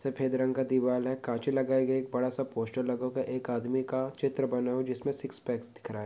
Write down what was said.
सफ़ेद रंग का दीवाल है कांच भी लगाए गए एक बड़ा सा पोस्टर लगा हुआ है एक आदमी का चित्र बना हुआ है जिसमे सिक्स पैक्स दिख रहा --